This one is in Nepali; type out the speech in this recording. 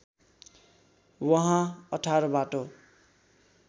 वहाँ १८ बाटो